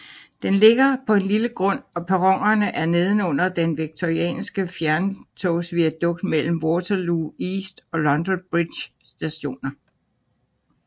Den ligger på en lille grund og perronerne er nedenunder den Victorianske fjerntogsviadukt mellem Waterloo East og London Bridge Stationer